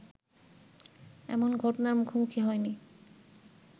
এমন ঘটনার মুখোমুখি হয়নি